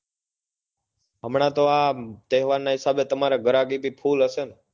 હમણાં તો આ તહેવાર ના હિસાબે તમારે ગરાગી પ full હશે ને